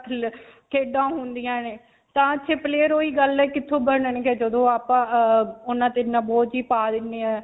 ਖੇਡਾਂ ਹੁੰਦੀਆਂ ਨੇ. player ਓਹੀ ਗੱਲ ਹੈ ਕਿੱਥੋਂ ਬਣਨਗੇ ਜਦੋਂ ਆਪਾਂ ਅਅ ਉਨ੍ਹਾਂ ਤੇ ਇੰਨਾ ਬੋਝ ਹੀ ਪਾ ਦਿੰਨੇ ਹੈ.